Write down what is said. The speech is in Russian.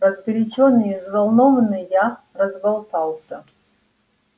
разгорячённый и взволнованный я разболтался